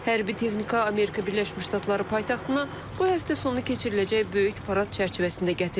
Hərbi texnika Amerika Birləşmiş Ştatları paytaxtına bu həftə sonu keçiriləcək böyük parad çərçivəsində gətirilib.